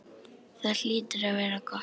Það hlýtur að vera gott.